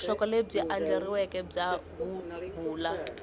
vuxokoxoko lebyi andlariweke bya huhula